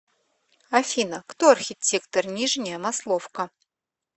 афина кто архитектор нижняя масловка